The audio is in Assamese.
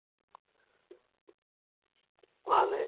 ভালেই,